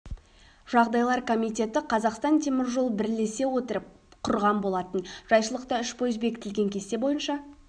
жағдайлар комитеті қазақстан темір жолы бірлесе отырып құрған болатын жайшылықта үш пойыз бекітілген кесте бойынша